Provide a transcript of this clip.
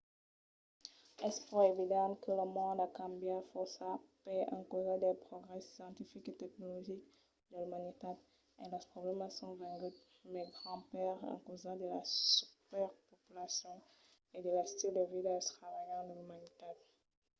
es pro evident que lo mond a cambiat fòrça per encausa dels progrèsses scientifics e tecnologics de l’umanitat e los problèmas son venguts mai grands per encausa de la subrepopulacion e de l’estil de vida extravagant de l’umanitat